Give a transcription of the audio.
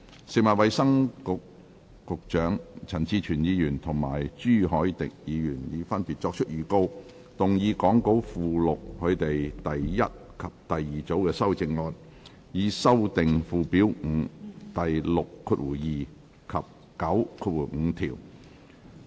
食物及衞生局局長、陳志全議員及朱凱廸議員已分別作出預告，動議講稿附錄他們的第一組及第二組修正案，以修正附表5第62及95條。